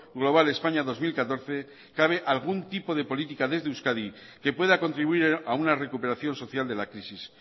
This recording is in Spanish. global españa dos mil catorce cabe algún tipo de política desde euskadi que pueda contribuir a una recuperación social de la crisis